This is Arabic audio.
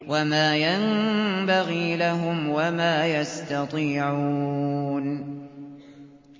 وَمَا يَنبَغِي لَهُمْ وَمَا يَسْتَطِيعُونَ